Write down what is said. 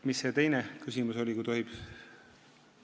Mis see teine küsimus oli, kui tohib?